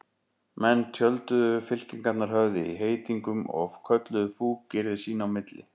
Menn tjölduðu, fylkingarnar höfðu í heitingum og kölluðu fúkyrði sín á milli.